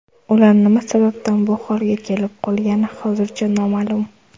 Ular nima sababdan bu holga kelib qolgani hozircha noma’lum.